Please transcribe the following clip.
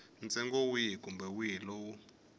ntsengo wihi kumbe wihi lowu